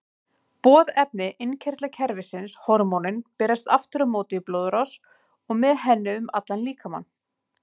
Boðefni innkirtlakerfisins, hormónin, berast aftur á móti í blóðrás og með henni um allan líkamann.